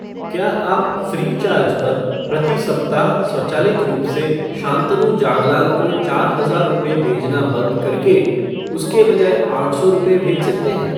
क्या आप फ़्रीचार्ज पर प्रति साप्ताह स्वचालित रूप से शांतनु जागलान को चार हजार रुपये भेजना बंद करके उसके बजाए आठ सौ रुपये , भेज सकते हैं?